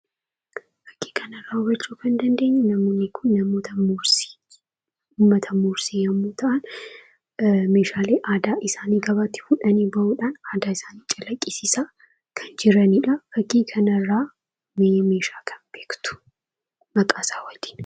Fakkii kanarraa hubachuu kan dandeenyuu, namoonni kun namoota mursiiti. Uummata muursii yemmuu ta'an meeshaalee aadaa isaanii gabaatti fuudhanii bahuudhaan aadaa isaanii calaqqisiisaa kan jiranidha. Fakkii kanarraa mee meeshaa kam beektu ? Maqaasaa waliin.